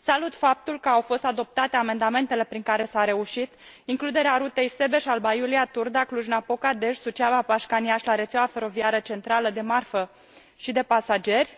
Salut faptul că au fost adoptate amendamentele prin care s a reușit includerea rutei Sebeș Alba Iulia Turda Cluj Napoca Dej Suceava Pașcani Iași la rețeaua feroviară centrală de marfă și de pasageri,